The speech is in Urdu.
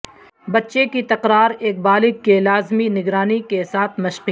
بچے کی تکرار ایک بالغ کے لازمی نگرانی کے ساتھ مشقیں